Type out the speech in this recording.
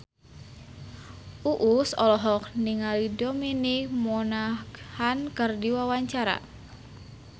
Uus olohok ningali Dominic Monaghan keur diwawancara